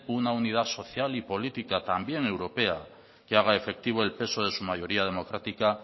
una unidad social y política también europea que haga efectivo el peso de su mayoría democrática